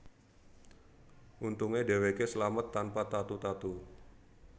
Untunge dheweke slamet tanpa tatu tatu